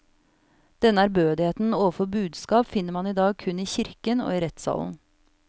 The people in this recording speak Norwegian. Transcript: Denne ærbødigheten overfor budskap finner man i dag kun i kirken og i rettssalen.